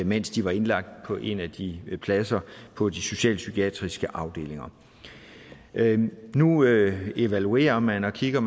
mens de var indlagt på en af de pladser på de socialpsykiatriske afdelinger nu evaluerer man og kigger